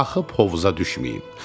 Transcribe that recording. axıb hovuza düşməyim.